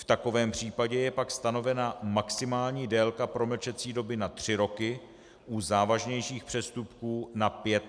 V takovém případě je pak stanovena maximální délka promlčecí doby na 3 roky, u závažnějších přestupků na 5 let.